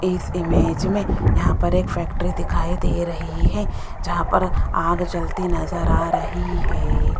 इस इमेज में यहां पर एक फैक्ट्री दिखाई दे रही है जहां पर आग जलती नजर आ रही है।